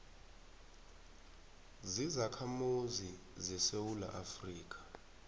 zizakhamuzi zesewula afrika